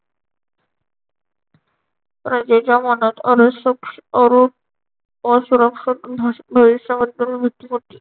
प्रजेच्या मनात मनसुख अरु असुरक्षित वेळी सहन वृत्ती होती.